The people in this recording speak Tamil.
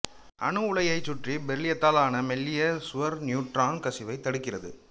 அணு உலையைச் சுற்றி பெரிலியத்தாலான மெல்லிய சுவர் நியூட்ரான் கசிவைத் தடுக்கிறது